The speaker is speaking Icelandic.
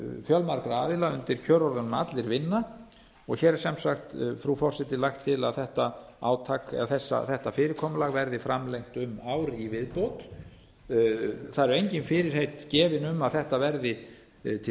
fjölmargra aðila undir kjörorðunum allir vinna og hér er sem sagt frú forseti lagt til að þetta fyrirkomulag verði framlengt um ár í viðbót það eru engin fyrirheit gefin um að þetta verði til